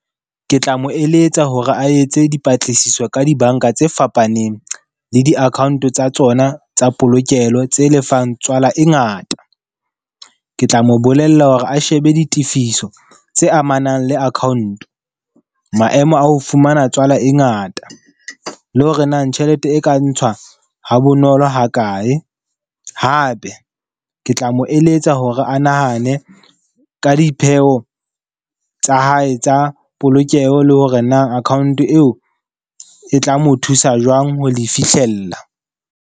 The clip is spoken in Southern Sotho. Ke tla mo eletsa hore a etse dipatlisiso ka dibanka tse fapaneng le di-account tsa tsona tsa polokelo tse lefang tswala e ngata. Ke tla mo bolella hore a shebe ditifiso tse amanang le account, maemo a ho fumana tswala e ngata le hore na tjhelete e ka ntshwa ha bonolo ha kae. Hape ke tla mo eletsa hore a na nahane ka dipheo tsa hae tsa polokeho, le hore na account eo e tla mo thusa jwang ho di fihlella.